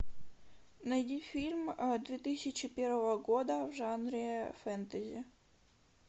найди фильм две тысячи первого года в жанре фэнтези